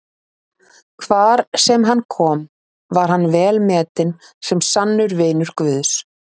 Hvar sem hann kom var hann velmetinn sem sannur vinur Guðs.